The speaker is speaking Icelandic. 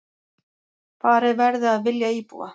Farið verði að vilja íbúa